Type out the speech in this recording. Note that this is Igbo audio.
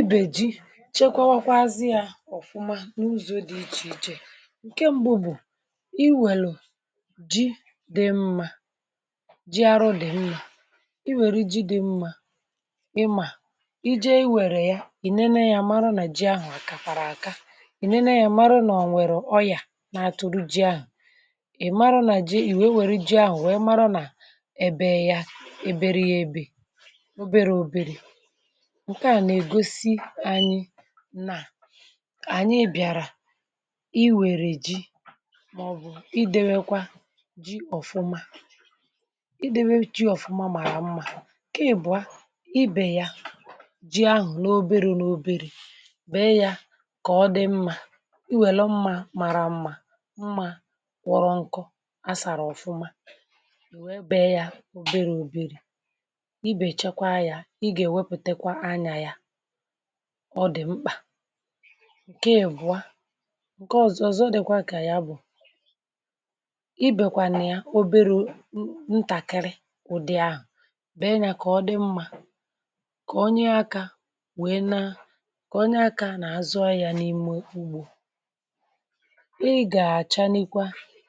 Ibé ji chekwawakwọ azị ya ofụma n’ụzọ̇ dị ichè ichè ǹke mbụ̇ bụ̀ i wèle ji dị mmȧ ji arụ dị mmȧ i wère ji dị mmȧ ịmȧ i jee i wère ya ì nene yȧ mara nà ji ahụ̀ àkàkwàrà àka ì nene yȧ mara nà ò nwèrè ọyà na-atụ̀rụ ji ahụ̀ ị̀ mara nà ji, ì wee wère ji ahụ̀ wee mara nà ebe yȧ eberie ebe oberė oberė nkea na egosi anyị na ànyị bịàrà i wère ji màọbụ̀ idewekwa ji ọ̀fụma idewekwa ji ọ̀fụma màrà mma. Nkè ịbụ̀a ibè ya ji ahụ̀ n’obero n’oberi bèe ya kà ọ dị mma i wèlo mma màrà mma mma kwọrọ nkọ a sàrà ọ̀fụma i wee bee ya oberė oberė i bè chekwaa ya ị gà èwepùtekwa anya ya ọ dị mkpà nke ị bụ̀ a nke ọzọ ọzọ dịkwa ka ya bụ̀ i bėkwànye oberu ntakịrị ụ̀dị ahụ̀ be nya kà ọ dị mmȧ kà onye akȧ wee na kà onye akȧ nà-azụ ahị̇ȧ n’ime ugbȯ ị gà-àcha n’ikwa